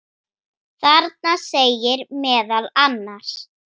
Þarna segir meðal annars